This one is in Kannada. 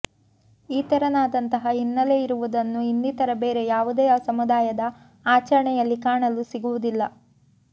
ಈ ತೆರನಾದಂತಹ ಹಿನ್ನೆಲೆಯಿರುವುದನ್ನು ಇನ್ನಿತರ ಬೇರೆ ಯಾವುದೇ ಸಮುದಾಯದ ಆಚರಣೆಯಲ್ಲಿ ಕಾಣಲು ಸಿಗುವುದಿಲ್ಲ